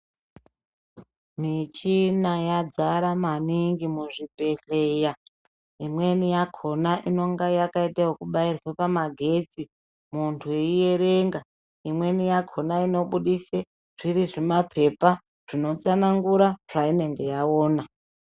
Michina yadzara maningi muzvibhedhlera imweni yakona inenge yakaite kubairwa pamagetsi muntu eiyerenga, imweni yakona inobudise zviri zvimapepa zvinotsanangura zvainenge yaona.